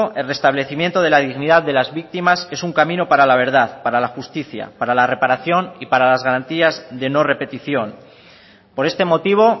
el restablecimiento de la dignidad de las víctimas es un camino para la verdad para la justicia para la reparación y para las garantías de no repetición por este motivo